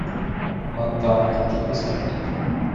монтана хочу посмотреть